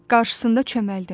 Qarşısında çömbəldim.